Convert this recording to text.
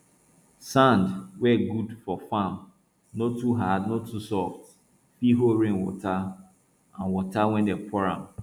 sand wey good for farm no too hard no too soft fit hold rainwater and water wey dem pour am